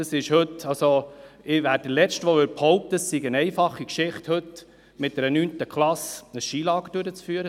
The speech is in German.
Ich bin der Letzte, der behaupten würde, dass es heute eine einfache Geschichte ist, mit einer 9. Klasse ein Skilager durchzuführen.